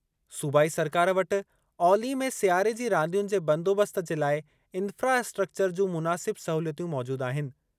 सूबाई सरकार वटि औली में सियारे जी रांदियुनि जे बंदोबस्त जे लाइ इन्फ़्रास्ट्रक्चर जूं मुनासिब सहूलियतूं मौजूदु आहिनि।